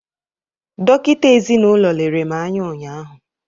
dọkịta ezinụlọ lere m anya ụnyaahụ